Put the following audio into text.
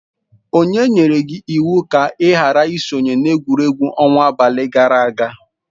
O nyere gi iwu ka ị ghara isonyere egwuregwu ọnwa abalị gara aga.